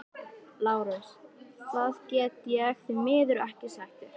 LÁRUS: Það get ég því miður ekki sagt þér.